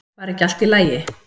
Var ekki allt í lagi?